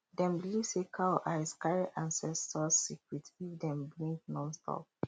dem believe say cow eyes carry ancestors secret if dem blink nonstop